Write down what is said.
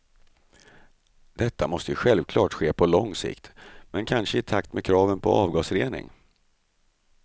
Detta måste självklart ske på lång sikt, men kanske i takt med kraven på avgasrening.